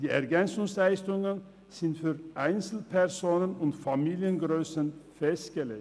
Die EL sind für Einzelpersonen und Familiengrössen festgelegt.